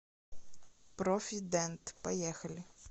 профи дент поехали